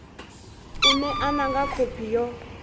u ṋekana nga khophi yo